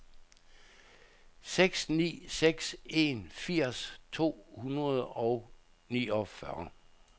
seks ni seks en firs to hundrede og niogfyrre